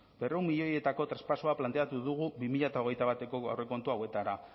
berrehun milioietako traspasoa planteatu dugu bi mila hogeita bateko aurrekontu hauetara